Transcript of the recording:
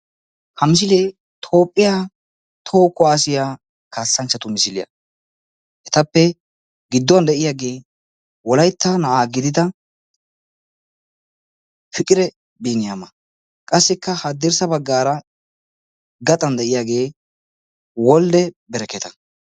ha misile toophiya toho kuwassiya kassanchchatu misiliya ettappe giduwage wolaytta yeletta gidiya fiqire biniama qassikka hadirssa bagarra gaxxan de"iyage wolde barakkata.